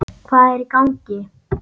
Hvað er í gangi?